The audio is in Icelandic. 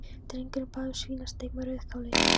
Drengurinn bað um svínasteik með rauðkáli.